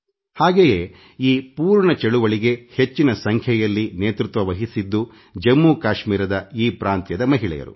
ಹಾಗೆಯೇ ಈ ಪೂರ್ಣ ಚಳವಳಿಗೆ ಹೆಚ್ಚಿನ ಸಂಖ್ಯೆಯಲ್ಲಿ ನೇತೃತ್ವ ವಹಿಸಿದ್ದು ಜಮ್ಮುಕಾಶ್ಮೀರದ ಈ ಪ್ರಾಂತ್ಯದ ಮಹಿಳೆಯರು